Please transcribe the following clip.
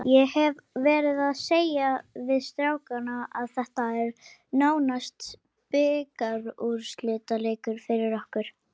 Ég hef verið að segja við strákana að þetta er nánast bikarúrslitaleikur fyrir okkur.